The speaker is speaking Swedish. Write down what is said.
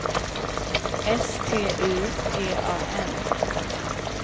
S T U G A N